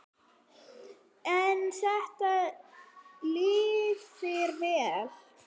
En þetta lifir vel.